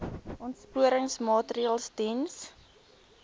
aansporingsmaatre ls diens